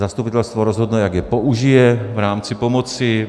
Zastupitelstvo rozhodne, jak je použije v rámci pomoci.